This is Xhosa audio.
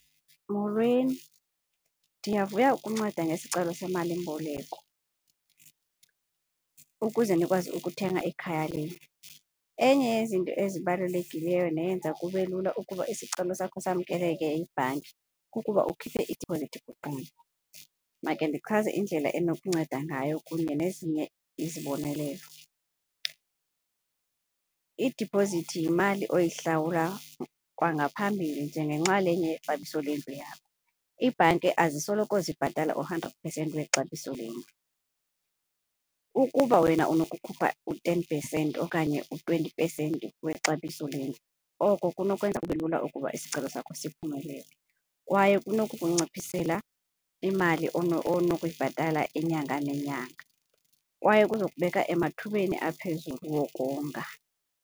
Molweni, ndiyavuya ukunceda ngesicelo semalimboleko ukuze nikwazi ukuthenga ikhaya lenu. Enye yezinto ezibalulekileyo neyenza kube lula ukuba isicelo sakho samkeleke yibhanki kukuba ukhuphe idiphozithi kuqala. Make ndichaze indlela enokunceda ngayo kunye nezinye izibonelelo. Idipozithi yimali oyihlawula kwangaphambili njengenxalenye yexabiso lendlu yakho. Iibhanki azisoloko zibhatala u-hundred percent wexabiso lendlu. Ukuba wena unokukhupha u-ten percent okanye u-twenty percent wexabiso lendlu, oko kunokwenzeka kube lula ukuba isicelo sakho siphumelele kwaye kunokukunciphisela imali onokuyibhatala inyanga nenyanga, kwaye kuzokubeka emathubeni aphezulu wokonga.